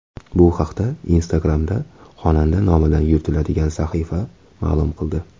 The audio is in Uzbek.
Bu haqda Instagram’da xonanda nomidan yuritiladigan sahifa ma’lum qildi .